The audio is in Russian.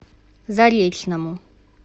заречному